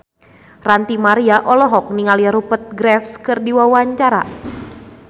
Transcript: Ranty Maria olohok ningali Rupert Graves keur diwawancara